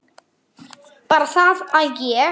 Bara það að ég.